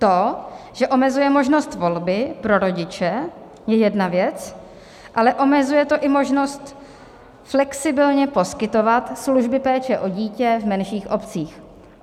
To, že omezuje možnost volby pro rodiče, je jedna věc, ale omezuje to i možnost flexibilně poskytovat služby péče o dítě v menších obcích.